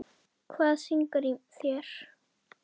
Hvað syngur í þér?